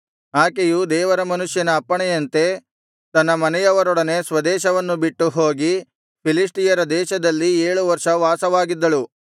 ಆಕೆಯು ದೇವರ ಮನುಷ್ಯನ ಅಪ್ಪಣೆಯಂತೆ ತನ್ನ ಮನೆಯವರೊಡನೆ ಸ್ವದೇಶವನ್ನು ಬಿಟ್ಟು ಹೋಗಿ ಫಿಲಿಷ್ಟಿಯರ ದೇಶದಲ್ಲಿ ಏಳು ವರ್ಷ ವಾಸವಾಗಿದ್ದಳು